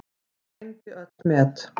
Hann sprengdi öll met.